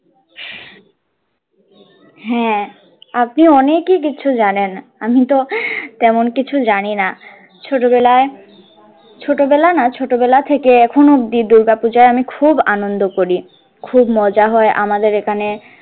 হ্যাঁ আপনি অনেকই কিছু জানেন আমি তো তেমন কিছু জানি না ছোটবেলায় ছোটবেলা না ছোটবেলা থেকে এখন অবধি দূর্গাপূজায় আমি খুব আনন্দ করি খুব মজা হয় আমাদের এখানে।